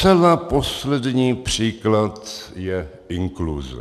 Zcela poslední příklad je inkluze.